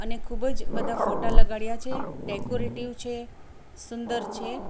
અને ખૂબ જ બધા ફોટા લગાડ્યા છે ડેકોરેટિવ છે સુંદર છે.